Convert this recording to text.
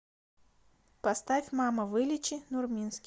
поставь мама вылечи нурминский